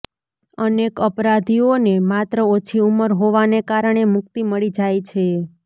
અનેક અપરાધીઓને માત્ર ઓછી ઉંમર હોવાને કારણે મુકિત મળી જાય છે